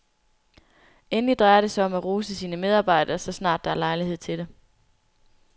Endelig drejer det sig om at rose sine medarbejdere, så snart der er lejlighed til det.